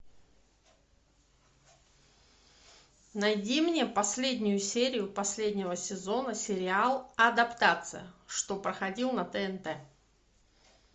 найди мне последнюю серию последнего сезона сериал адаптация что проходил на тнт